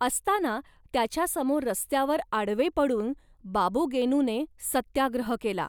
असताना त्याच्यासमोर रस्त्यावर आडवे पडून बाबू गेनूने सत्याग्रह केला.